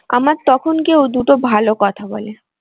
আমার তখন কেউ দুটো ভালো কথা বলে।